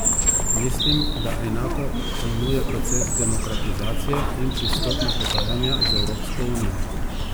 Mislim, da enako pojmuje proces demokratizacije in pristopna pogajanja z Evropsko unijo.